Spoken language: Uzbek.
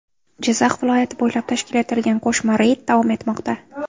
Jizzax viloyati bo‘ylab tashkil etilgan qo‘shma reyd davom etmoqda.